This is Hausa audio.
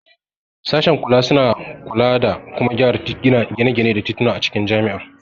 Sashen kula suna kula da kuma gyara gine-gine da tituna a cikin jami'a.